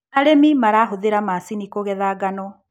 Arĩmi marahũthira macini kũgetha ngano.